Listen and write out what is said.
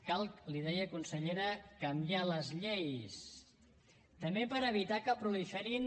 cal li deia consellera canviar les lleis també per evitar que proliferin